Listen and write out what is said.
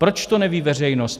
Proč to neví veřejnost?